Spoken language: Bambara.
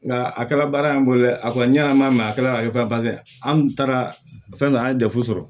Nka a kɛra baara in bolo dɛ a ko tiɲɛ yɛrɛ an b'a mɛn a kɛra ka ban an taara fɛn dɔ la an ye dɛfu sɔrɔ